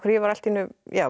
var allt í einu